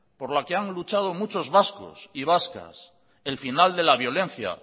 por la que han luchado muchos vascos y vascas el final de la violencia